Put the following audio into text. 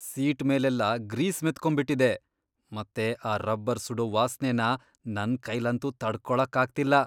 Seat ಮೇಲೆಲ್ಲ grease ಮೆತ್ಕೊಂಬಿಟಿದೆ.. ಮತ್ತೆ ಆ ರಬ್ಬರ್ ಸುಡೋ ವಾಸ್ನೆನ ನನ್ ಕೈಲಂತೂ ತಡ್ಕೊಳಕ್ಕಾಗ್ತಿಲ್ಲ.